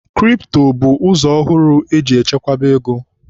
Kripto bụ ụzọ ọhụrụ eji echekwaba ego.